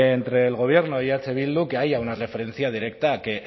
entre el gobierno y eh bildu que haya una referencia directa a que